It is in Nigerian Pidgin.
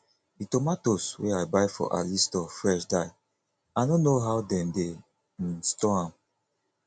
the tomatoes wey i buy for ali store fresh die i no know how dem dey um store am